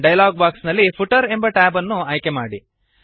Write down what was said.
dialog box ನಲ್ಲಿ footer ಎಂಬ tab ಅನ್ನು ಆಯ್ಕೆ ಮಾಡಿ